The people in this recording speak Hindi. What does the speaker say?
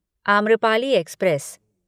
आम्रपाली एक्सप्रेस